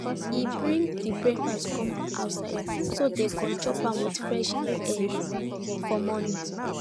e bring the breakfast come outside so dem go chop am with fresh air for morning